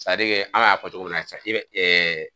an y'a fɔ cogo min na